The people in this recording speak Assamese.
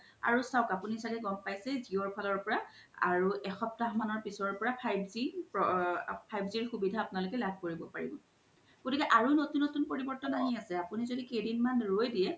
আৰু চাও আপুনি চাগে গ'ম পাইছেই জিঅ' ফালৰ পৰা আৰু এসপ্তাহ মানৰ পিছৰ পৰা five g ৰ সুবিধা আপুনালোকে লাভ কৰিব পৰিব গ্তিকে আৰু নতুন নতুন পৰিবৰ্তন আহি আছে আপুনি জদি কেইদিমান ৰই দিয়ে